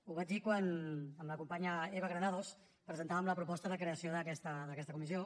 ho vaig dir quan amb la companya eva granados presentàvem la proposta de creació d’aquesta comissió